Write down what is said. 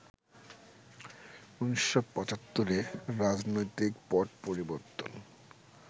১৯৭৫ এ রাজনৈতিক পট পরিবর্তন